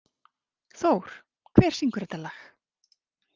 Thór, hver syngur þetta lag?